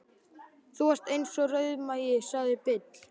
Þú varst eins og rauðmagi, sagði Bill.